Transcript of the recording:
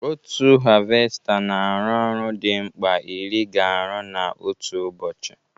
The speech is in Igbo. Otu havesta na arụ ọrụ dị mkpa ịrị ga arụ na otu ụbọchị